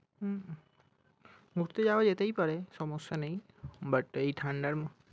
হম ঘুরতে যাওয়া যেতেই পারে সমস্যা নেই but এই ঠান্ডার মধ্যে